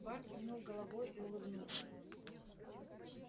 бар кивнул головой и улыбнулся